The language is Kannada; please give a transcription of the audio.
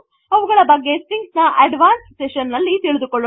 ಅವುಗಳ ಬಗ್ಗೆ ಸ್ಟ್ರಿಂಗ್ಸ್ ನ ಅಡ್ವಾನ್ಸ್ಡ್ ಸೆಶನ್ ಗಳಲ್ಲಿ ತಿಳಿದುಕೊಳ್ಳೋಣ